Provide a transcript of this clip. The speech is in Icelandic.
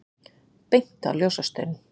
Beint á ljósastaurinn!